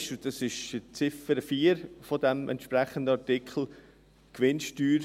Für uns ist die Ziffer 4 dieses entsprechenden Artikels ein sehr wichtiges Detail: